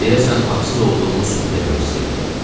Deyəsən haqsız olduğumu sübut eləmək istəyirdi.